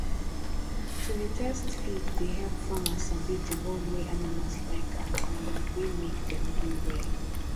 to dey test feed dey help farmer sabi the one wey animals like um and wey make dem grow um well